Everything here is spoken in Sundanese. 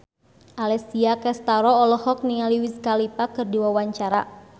Alessia Cestaro olohok ningali Wiz Khalifa keur diwawancara